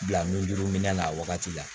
Bila mijurmin na a wagati la